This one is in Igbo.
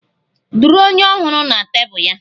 Duru onye Ọhụrụ na tebụl ya!